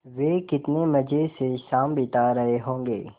वे कितने मज़े से शाम बिता रहे होंगे